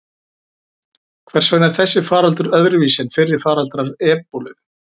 Hvers vegna er þessi faraldur öðruvísi en fyrri faraldrar ebólu?